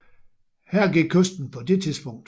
Her gik kysten på det tidspunkt